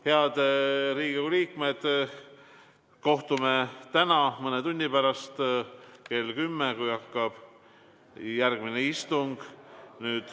Head Riigikogu liikmed, kohtume täna mõne tunni pärast, kell 10, kui hakkab järgmine istung.